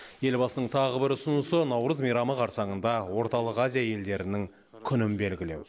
елбасының тағы бір ұсынысы наурыз мейрамы қарсаңында орталық азия елдерінің күнін белгілеу